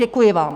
Děkuji vám.